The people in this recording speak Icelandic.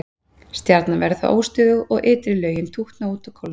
stjarnan verður þá óstöðug og ytri lögin tútna út og kólna